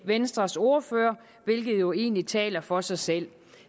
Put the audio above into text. venstres ordfører hvilket jo egentlig taler for sig selv